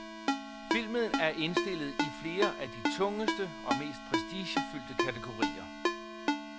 Filmen er indstillet i flere af de tungeste og mest prestigefyldte kategorier.